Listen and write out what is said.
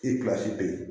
bɛ yen